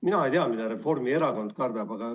Mina ei tea, mida Reformierakond kardab.